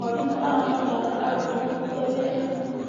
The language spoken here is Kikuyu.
Mwarimũ aramataara arutwo kũruta wĩra hamwe.